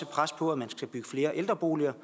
pres på at man skal bygge flere ældreboliger